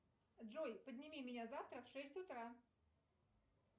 джой подними меня завтра в шесть утра